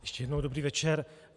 Ještě jednou dobrý večer.